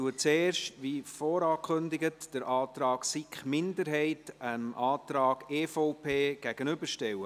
Wie vorangekündigt, stelle ich zuerst den Antrag der SiK-Minderheit dem Antrag der EVP gegenüber.